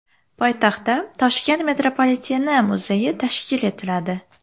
Poytaxtda Toshkent metropoliteni muzeyi tashkil etiladi.